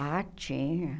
Ah, tinha.